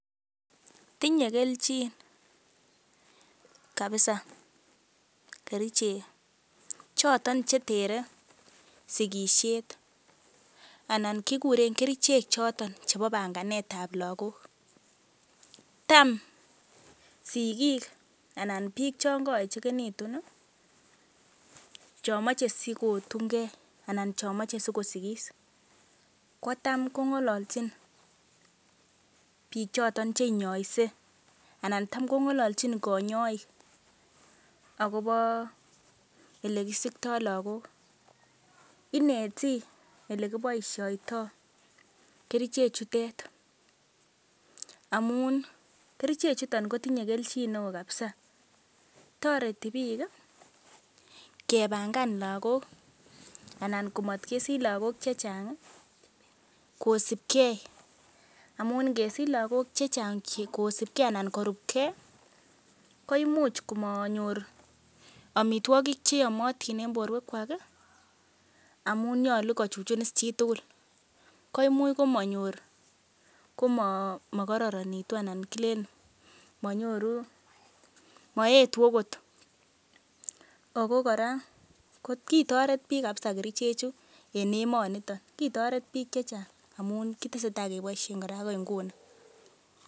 Tinye kelchin kabisa kerichek choton che tere sigisiet anan kiguren kerichek choton chebo banganetab lagok. Tam sigik anan biik chon koechegitun chon moche sikotun ge anan chomoche sikosigis ko tam kong'olochin biik choto che inyoise anan tam kong'alalchin konyoik agobo ele kisikto lagok ineti ele kiboisioito kerichejutet amun kerichechuto kotinye kelchin neo kabisa. Toreti biik kebangan lagok anan komatkesich lagok chechang kosibgei amun ngesich lagok che chang kosibgei anan korupgei koimuch komanyor amitwogik cheyomotin en borwekwak amun nyolu kochuchun is chitugul. Koimuch komanyor komakororonitu anan kilen manyoru, maetu agot. Ago kora kitoret biik kabisa kerichechu en emonito. Kitoret biik che chang amun kitesetai keboisien agoi nguni.